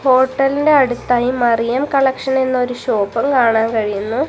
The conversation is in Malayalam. ഹോട്ടലിന്റെ അടുത്തായി മറിയം കളക്ഷൻ എന്നൊരു ഷോപ്പും കാണാൻ കഴിയുന്നു.